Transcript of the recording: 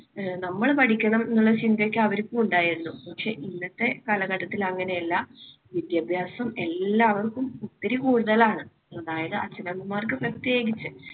അഹ് നമ്മൾ പഠിക്കണം എന്നൊരു ചിന്തയൊക്കെ അവർക്കും ഉണ്ടായിരുന്നു. പക്ഷേ ഇന്നത്തെ കാലഘട്ടത്തിൽ അങ്ങനെയല്ല. വിദ്യാഭ്യാസം എല്ലാവർക്കും ഒത്തിരി കൂടുതലാണ്. അതായത് അച്ഛനമ്മമാർക്ക് പ്രത്യേകിച്ച്